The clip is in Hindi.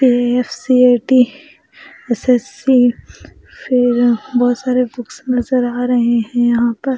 ए_एफ_सी_ए_टी एस_एस_सी फिर बहौत सारे बुक्स नज़र आ रहे हैं यहां पर।